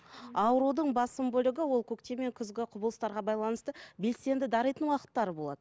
аурудың басым бөлігі ол көктем мен күзгі құбылыстарға байланысты белсенді даритын уақыттары болады